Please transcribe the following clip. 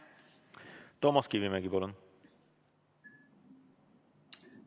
Toomas Kivimägi, palun!